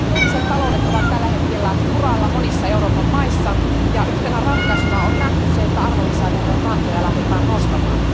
Julkiset taloudet ovat tällä hetkellä kuralla monissa Euroopan maissa, ja yhtenä ratkaisuna on nähty se, että arvonlisäverokantoja lähdetään nostamaan.